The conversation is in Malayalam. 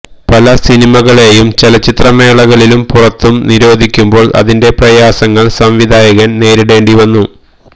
പല സിനിമകളേയും ചലച്ചിത്രമേളകളിലും പുറത്തും നിരോധിക്കുമ്പോള് അതിന്റെ പ്രയാസങ്ങള് സംവിധായകന് നേരിടേണ്ടി വരുന്നു